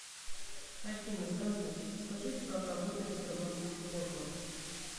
афина здравствуйте подскажите как работает сбербанк в субботу